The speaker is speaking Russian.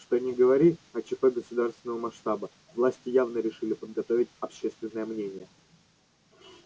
что ни говори а чп государственного масштаба власти явно решили подготовить общественное мнение